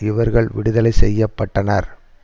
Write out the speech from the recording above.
இவர்கள் விடுதலை செய்ய பட்டனர்